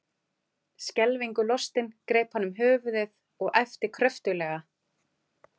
Skelfingu lostinn greip hann um höfuðið og æpti kröftuglega.